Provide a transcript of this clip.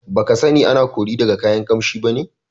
Baka sani ana kori daga kayan Ƙamshi bane?